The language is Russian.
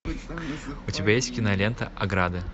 у тебя есть кинолента ограды